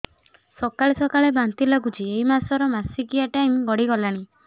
ସକାଳେ ସକାଳେ ବାନ୍ତି ଲାଗୁଚି ଏଇ ମାସ ର ମାସିକିଆ ଟାଇମ ଗଡ଼ି ଗଲାଣି